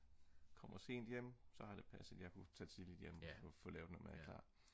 kommer sent hjem så har det passet at jeg kunne tage tidligt hjem og få lavet noget mad klar